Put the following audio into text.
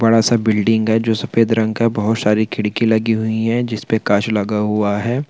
बड़ा सा बिल्डिंग है जो सफ़ेद रंग का है। बहुत सारी खिड़की लगी हुई है जिसपे कांच लगा हुआ है।